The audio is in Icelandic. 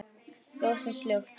Ljósin slökkt.